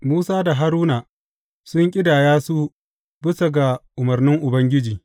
Musa da Haruna sun ƙidaya su bisa ga umarnin Ubangiji.